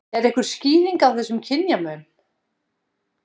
Er einhver skýring á þessum kynjamun?